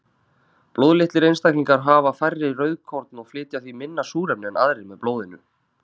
Blóðlitlir einstaklingar hafa færri rauðkorn og flytja því minna súrefni en aðrir með blóðinu.